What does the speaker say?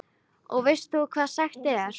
Og þú veist hvað sagt er?